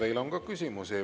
Teile on ka küsimusi.